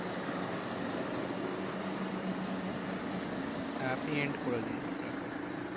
হ্যাঁ আপনি end করে দিন, আপনার side থেকে।